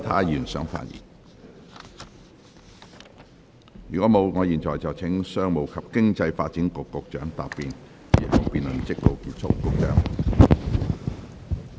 如果沒有，我現在請商務及經濟發展局局長答辯。